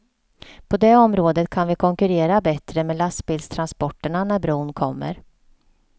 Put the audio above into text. På det området kan vi konkurrera bättre med lastbilstransporterna när bron kommer.